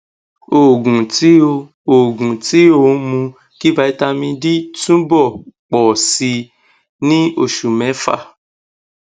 oògùn tí ó oògùn tí ó ń mú kí vitamin d túbọ ń pọ sí i ní òṣù mẹfà